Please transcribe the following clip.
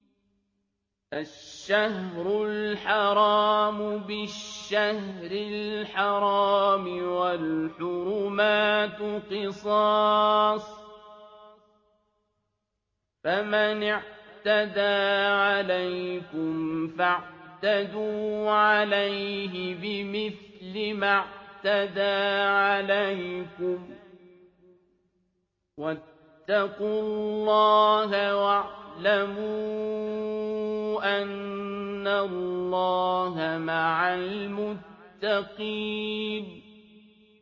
الشَّهْرُ الْحَرَامُ بِالشَّهْرِ الْحَرَامِ وَالْحُرُمَاتُ قِصَاصٌ ۚ فَمَنِ اعْتَدَىٰ عَلَيْكُمْ فَاعْتَدُوا عَلَيْهِ بِمِثْلِ مَا اعْتَدَىٰ عَلَيْكُمْ ۚ وَاتَّقُوا اللَّهَ وَاعْلَمُوا أَنَّ اللَّهَ مَعَ الْمُتَّقِينَ